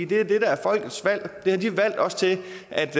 det er det der er folkets valg det har de valgt os til